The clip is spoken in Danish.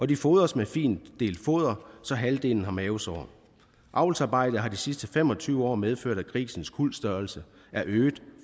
de fodres med findelt foder så halvdelen har mavesår avlsarbejdet har de sidste fem og tyve år medført at grisens kuldstørrelse er øget